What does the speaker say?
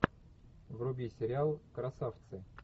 вруби сериал красавцы